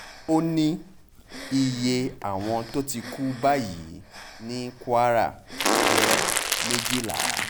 ó ní iye àwọn tó ti kú báyìí ní kwara jẹ́ méjìlá